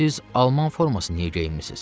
Siz alman forması niyə geyinmisiniz?